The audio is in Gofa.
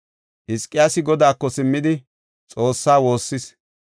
Hizqiyaasi godaako simmidi, Xoossaa woossis.